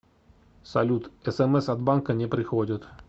салют смс от банка не приходят